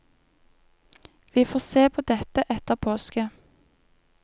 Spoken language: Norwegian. Vi får se på dette etter påske.